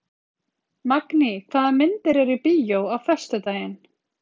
Magný, hvaða myndir eru í bíó á föstudaginn?